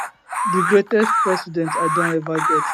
di greatest president i don ever get